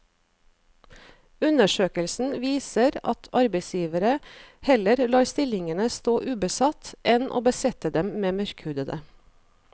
Undersøkelsen viser at arbeidsgivere heller lar stillingene stå ubesatt enn å besette dem med mørkhudede.